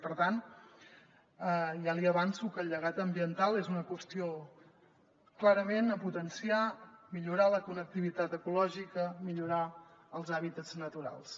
per tant ja li avanço que el llegat ambiental és una qüestió clarament a potenciar millorar la connectivitat ecològica millorar els hàbitats naturals